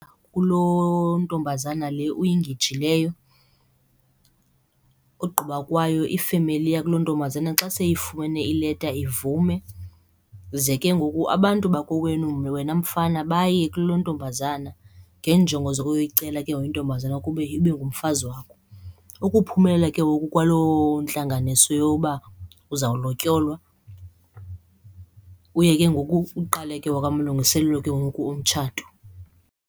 Kulontombazana le uyingejileyo. Ogqiba kwayo ifemeli yakulontombazana xa seyifumene ileta ivume. Ze ke ngoku abantu bakowenu wena mfana baye kulontombazana ngeenjongo zokuyicela ke ngoku intombazana kube ibe ngumfazi wakho. Ukuphumelela ke ngoku kwalo ntlanganiso yoba uzawulotyolwa uye ke ngoku uqale ke ngoku amalungiselelo ke ngoku omtshato.